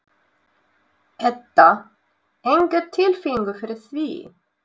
Edda: Enga tilfinningu fyrir því?